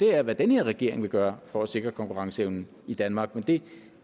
er hvad den her regering vil gøre for at sikre konkurrenceevnen i danmark men det